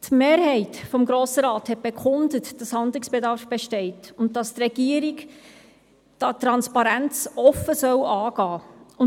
Die Mehrheit des Grossen Rats hatte bekundet, dass Handlungsbedarf besteht und die Regierung die Transparenz offen anpacken soll.